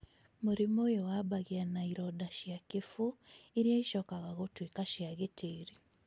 Mũrimũ uyu wambagia na ironda cia kĩbuu iria icokaga gũtuĩka cia gĩtĩri.